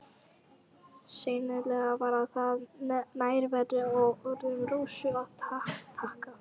Sennilega var það nærveru og orðum Rósu að þakka.